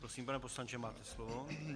Prosím, pane poslanče, máte slovo.